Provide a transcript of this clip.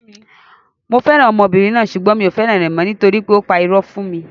Mo fẹ́ràn ọmọbìnrin náà sugbon mi ò fẹ́ràn rẹ̀ mọ́, nitori pé ó pa irọ́ fún mi.